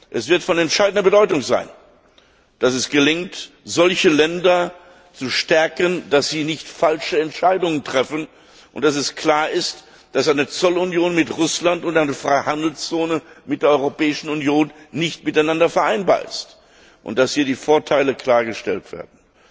Es wird von entscheidender Bedeutung sein, dass es gelingt, solche Länder zu stärken, damit sie keine falschen Entscheidungen treffen, und dass es klar ist, dass eine Zollunion mit Russland und eine Freihandelszone mit der Europäischen Union nicht miteinander vereinbar sind, und dass hier die Vorteile klargestellt werden.